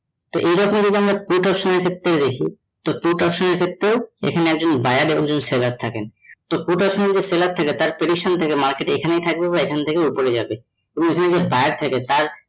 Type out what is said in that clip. তো এরকম যদি আমরা put option এর ক্ষেত্রে দেখি তো put option এর ক্ষেত্রে এখানে যদি একটা buyer আর seller থাকে তো put option এ যে seller থাকে তার prediction থাকে market এ এখানেই থাকবে বা এখান থেকে ওপরে যাবে